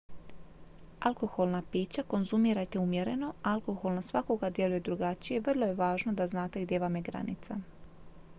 alkoholna pića konzumirajte umjereno alkohol na svakoga djeluje drukčije i vrlo je važno da znate gdje vam je granica